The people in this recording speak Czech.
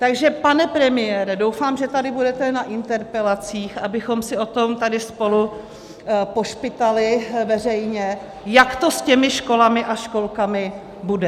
Takže pane premiére, doufám, že tady budete na interpelacích, abychom si o tom tady spolu pošpitali veřejně, jak to s těmi školami a školkami bude.